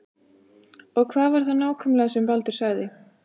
Og hvað var það nákvæmlega sem Baldur sagði?